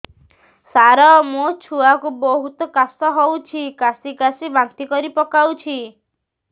ସାର ମୋ ଛୁଆ କୁ ବହୁତ କାଶ ହଉଛି କାସି କାସି ବାନ୍ତି କରି ପକାଉଛି